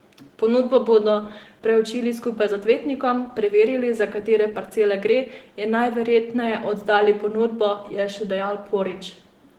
Ponudbo bodo preučili skupaj z odvetnikom, preverili, za katere parcele gre in najverjetneje oddali ponudbo, je še dejal Porić.